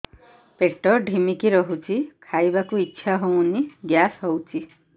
ପେଟ ଢିମିକି ରହୁଛି ଖାଇବାକୁ ଇଛା ହଉନି ଗ୍ୟାସ ହଉଚି